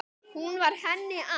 Hún var henni allt.